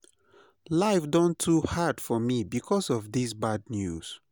life don too hard for me because of this bad news.